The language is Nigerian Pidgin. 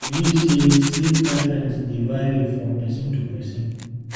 I dey believe say sleep preferences dey vary from person to person.